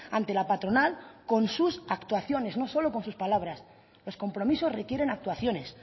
ante la patronal con sus actuaciones no solo con sus palabras los compromisos requieren actuaciones